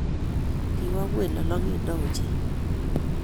Kiwo ngweny lolongindo ochei